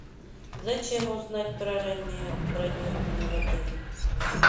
зачем узнать про раннее бронирование в отеле